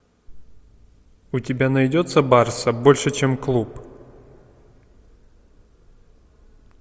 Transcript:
у тебя найдется барса больше чем клуб